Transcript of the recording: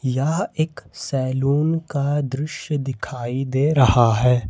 यह एक सैलून का दृश्य दिखाई दे रहा है।